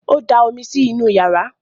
ọ dà omí sí nù iyàrá